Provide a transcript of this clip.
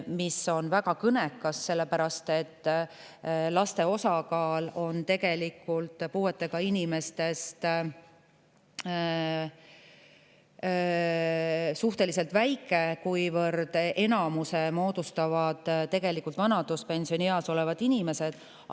See on väga kõnekas, sellepärast et laste osakaal on puuetega inimeste seas suhtelise väike, kuivõrd enamuse moodustavad vanaduspensionieas olevad inimesed.